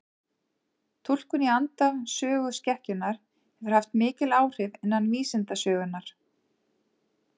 Túlkun í anda söguskekkjunnar hefur haft mikil áhrif innan vísindasögunnar.